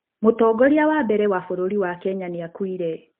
Mũtongoria wa mbere wa bũrũri wa Kenya nĩ aakuire.